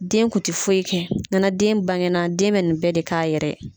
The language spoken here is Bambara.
Den kun ti foyi kɛ nana den bangenna den bɛ nin bɛɛ k'a yɛrɛ yɛ.